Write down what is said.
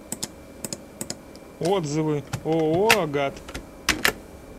отзывы ооо агат